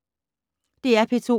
DR P2